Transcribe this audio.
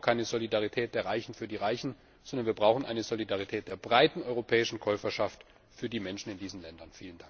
Denn wir brauchen keine Solidarität der Reichen mit den Reichen, sondern wir brauchen eine Solidarität der breiten europäischen Käuferschaft mit den Menschen in diesen Ländern!